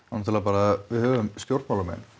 náttúrulega bara við höfum stjórnmálamenn